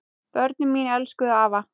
Börnin mín elskuðu afa.